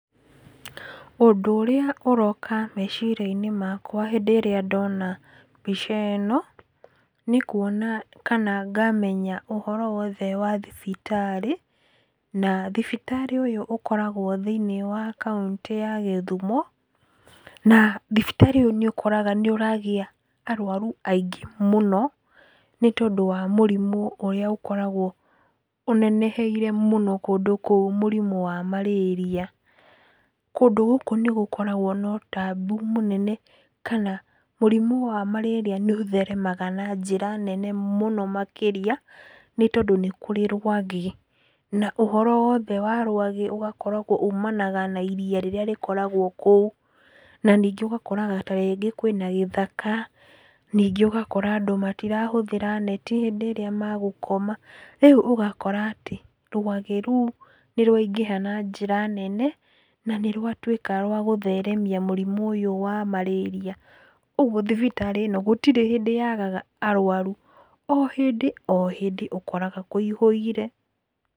Ũndũ ũrĩa ũroka meciria-inĩ makwa hĩndĩ ĩrĩa ndona mbica ĩno nĩ kuona kana ngamenya ũhoro wothe wa thibitarĩ. Na thibitarĩ ũyũ ũkoragwo thĩiniĩ wa Kaũntĩ ya Kisumu. Na thibitarĩ ĩyo nĩ ũkoraga nĩ ũragĩa arũaru aingĩ mũno, nĩ tondũ wa mũrimũ ũrĩa ũkoragwo ũneneheire mũno kũndũ kũu, mũrimũ wa Malaria. Kũndũ gũkũ nĩ gũkoragwo na ũtambũ mũnene kana mũrimũ wa Malaria nĩ ũtheremaga na njĩra nene mũno makĩria nĩ tondũ nĩ kũrĩ rwagĩ. Na ũhoro wothe wa rũagĩ ũgakoragwo umanaga na iria rĩrĩa rĩkoragwo kũu. Na ningĩ ũgakoraga ta rĩngĩ kwĩna gĩthaka. Ningĩ ũgakora andũ matirahũthĩra neti hĩndĩ ĩrĩa magũkoma. Rĩu ũgakora atĩ rwagĩ rũu nĩ rwaingĩha na njĩra nene na nĩ rwatuĩka rwa gũtheremia mũrimũ ũyũ wa marĩria. Ũguo thibitarĩ ĩno gũtirĩ hĩndĩ yagaga arũaru o hĩndĩ o hĩndĩ ũkoraga kũihũire.